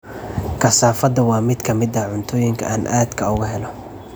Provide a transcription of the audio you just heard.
Kasaafada waa mid ka mid ah cuntooyinka aan aadka uga helo.